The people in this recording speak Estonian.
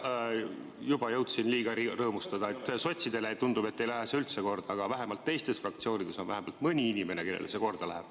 Jaa, juba jõudsin liiga vara rõõmustada, sest tundub, et sotsidele ei lähe see üldse korda, aga vähemalt teistes fraktsioonides on mõni inimene, kellele see korda läheb.